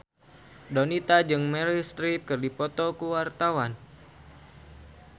Donita jeung Meryl Streep keur dipoto ku wartawan